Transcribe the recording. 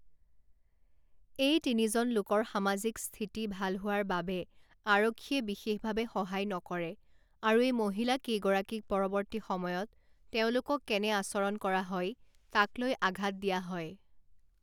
এই তিনিজন লোকৰ সামাজিক স্থিতি ভাল হোৱাৰ বাবে আৰক্ষীয়ে বিশেষভাৱে সহায় নকৰে আৰু এই মহিলা কেইগৰাকীক পৰৱৰ্তী সময়ত তেওঁলোকক কেনে আচৰণ কৰা হয় তাক লৈ আঘাত দিয়া হয়।